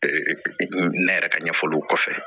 ne yɛrɛ ka ɲɛfɔliw kɔfɛ